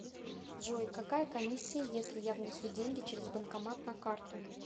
джой какая комиссия если я внесу деньги через банкомат на карту